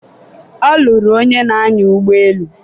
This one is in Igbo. ọ lụrụ onye na-anya ụgbọelu